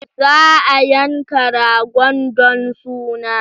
Za a yanka ragon don suna.